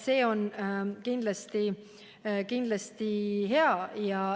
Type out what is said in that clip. See on kindlasti hea.